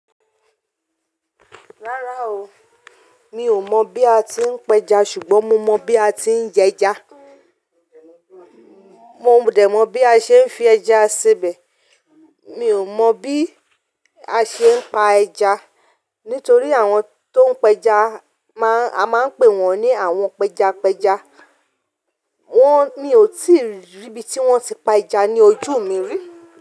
Rárá o, mi ò mọ̀ bí a ti ń pẹja ṣùgbọ́n mo mọ̀ bí a ti ń jẹja. Mò ń dẹ̀ mọ̀ bí a ṣe ń fi ẹja se'bẹ̀. Mi ò mọ̀ bí a ṣe ń pa ẹja nítorí àwọn tó ń pẹja a máa ń pè wọ́n ní àwọn pẹjapẹja. Wọ́n mi ó ti rí ibí ti wọ́n ti pa ẹja ní ojú mi rí.